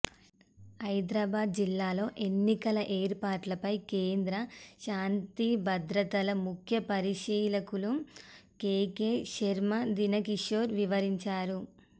హైదరాబాద్ జిల్లాలో ఎన్నికల ఏర్పాట్లపై కేంద్ర శాంతిభద్రతల ముఖ్య పరిశీలకులు కేకే శర్మకు దానకిషోర్ వివరిం చారు